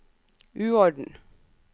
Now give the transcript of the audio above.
uorden